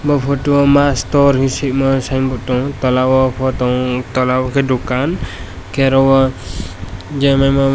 aw photo o masto he swima signboard tongo tola o photo un tola o ke dukan ke oro oh jemai ma.